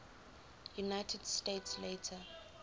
united states later